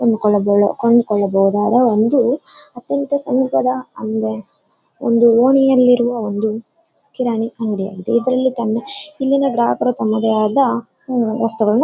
ಕೊಂಡ್ಕೊಳ್ಳಬಹುದು ಅರ ಒಂದು ಅತ್ತ ಇತ್ತ ಸಮೀಪದ ಒಂದು ಓಣಿಯಲ್ಲಿರೋ ಒಂದು ಕಿರಾಣಿ ಅಂಗಡಿ ಅಂತೆ ಇದ್ರಲ್ಲಿ ತಮ್ಮ ಗ್ರಾಹಕರು -ವಸ್ತುಗಳನ್ನು--